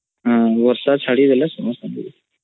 ହଁ ବର୍ଷା ଚାଡିଗଲେ ସମସ୍ତଂକୁ ଦେଖିହୁଏ